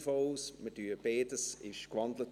Beides wurde in ein Postulat gewandelt.